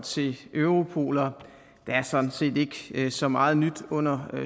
til europol og der er sådan set ikke så meget nyt under